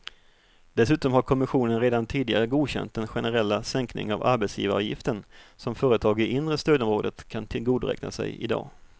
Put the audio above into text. Dessutom har kommissionen redan tidigare godkänt den generella sänkning av arbetsgivaravgiften som företag i inre stödområdet kan tillgodoräkna sig i dag.